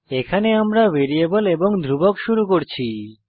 এখানে আমরা ভ্যারিয়েবল এবং ধ্রুবক শুরু করছি